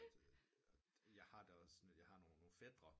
Jeg har da også jeg har nogen fætre